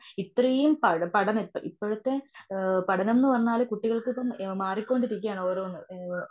ഇത്രേം പഠ പഠന ഇപ്പോഴത്തെ ആ പഠനം എന്നു പറഞ്ഞാല് കുട്ടികൾക്കിപ്പം മാറിക്കൊണ്ടിരിക്കുവാണ് ഓരോന്ന്. ഏ